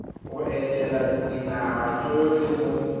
go etela dinaga tsotlhe mo